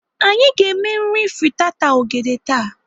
Anyị ga-eme nri fritata ogede taa.